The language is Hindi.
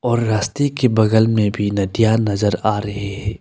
और रास्ते के बगल में भी नदियां नजर आ रही है।